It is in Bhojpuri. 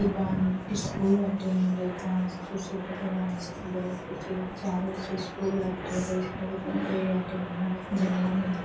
स्कूल बाटे। एमे लइका बान सन। कुर्सी पर बईठल बानन सन। कुर्सी बा। चारों ओर से स्कूल बाटे। पत्ता बाटे।